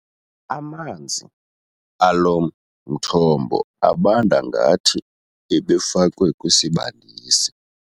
Amanzi alo mthombo abanda ngathi ebefakwe kwisibandisi.